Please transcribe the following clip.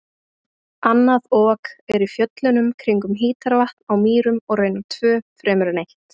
Annað Ok er í fjöllunum kringum Hítarvatn á Mýrum og raunar tvö fremur en eitt.